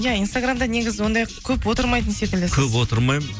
иә инстаграмда негізі ондай көп отырмайтын секілдісіз көп отырмаймын